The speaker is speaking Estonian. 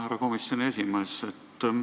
Härra komisjoni esimees!